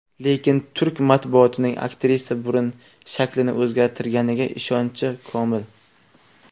Lekin turk matbuotining aktrisa burun shaklini o‘zgartirganiga ishonchi komil.